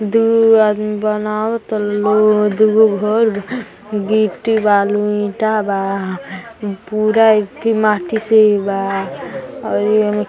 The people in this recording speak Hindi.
दु आदमी बनाव तन लोग। दुगो घर बा। गिट्टी बालू ईटा बा। पूरा ईथी माटी से भी बा। औरी एमे --